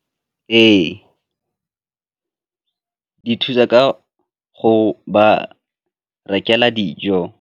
Ee, di thusa ka go ba rekela dijo.